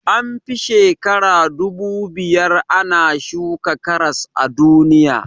An fi shekara dubu biyar ana shuka karas a duniya